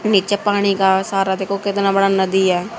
नीचे पानी का सारा देखो कितना बड़ा नदी है।